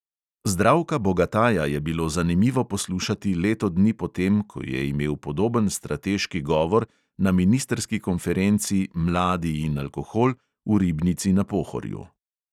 Zdravka bogataja je bilo zanimivo poslušati leto dni po tem, ko je imel podoben strateški govor na ministrski konferenci "mladi in alkohol" v ribnici na pohorju.